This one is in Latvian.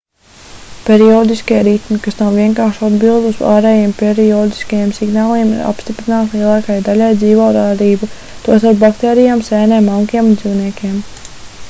periodiskie ritmi kas nav vienkārši atbilde uz ārējiem periodiskajiem signāliem ir apstiprināti lielākajai daļai dzīvo radību tostarp baktērijām sēnēm augiem un dzīvniekiem